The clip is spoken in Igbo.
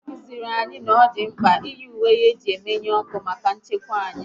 A kụziri anyị na ọ dị mkpa iyi ùwé eji emenu ọkụ maka nchekwa anyị